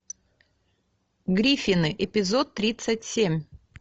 гриффины эпизод тридцать семь